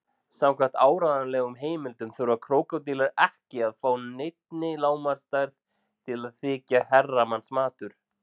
Samkvæmt áreiðanlegum heimildum þurfa krókódílar ekki að ná neinni lágmarksstærð til að þykja herramannsmatur.